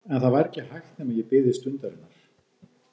En það væri ekki hægt nema ég biði stundarinnar.